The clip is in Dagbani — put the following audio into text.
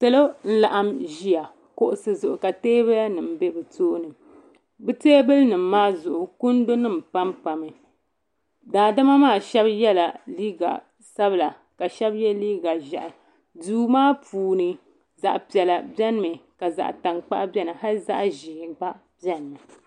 Salo n laɣim ʒia kuɣusi zuɣu ka teebuya nima be bɛ tooni bɛ teebuli nima maa zuɣu kundu nima pampa mi daadama maa Sheba yela liiga sabla ka Sheba ye liiga ʒehi duu maa puuni zaɣa piɛla biɛni mi ka zaɣa tankpaɣu biɛni hali zaɣa ʒee gba biɛni mi.